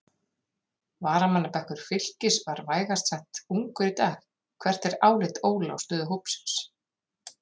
Varamannabekkur Fylkis var vægast sagt ungur í dag, hvert er álit Óla á stöðu hópsins?